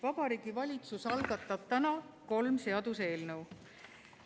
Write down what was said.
Vabariigi Valitsus algatab täna kolm seaduseelnõu.